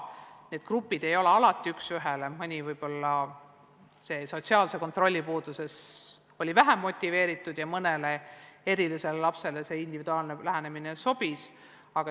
Need grupid ei kattu üks ühele, mõni oli sotsiaalse kontrolli puudumise tõttu võib-olla vähem motiveeritud ja mõnele erilisele lapsele individuaalne lähenemine sobis.